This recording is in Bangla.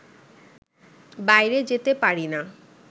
বাইরে যেতে পারি না